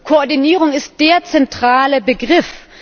Koordinierung ist der zentrale Begriff.